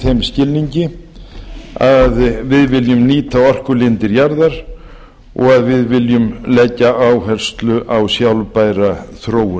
þeim skilningi að við viljum nýta orkulindir jarðar og að við viljum leggja áherslu á sjálfbæra þróun